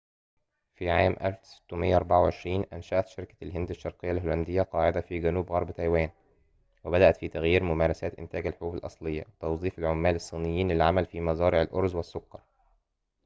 في عام 1624 أنشأت شركة الهند الشرقية الهولندية قاعدة في جنوب غرب تايوان وبدأت في تغيير ممارسات إنتاج الحبوب الأصلية وتوظيف العمال الصينيين للعمل في مزارع الأرز والسكر